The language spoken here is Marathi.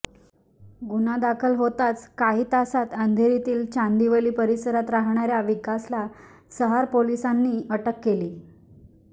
गुन्हा दाखल होताच काही तासांत अंधेरीतील चांदीवली परिसरात राहणार्या विकासला सहार पोलिसांनी अटक केली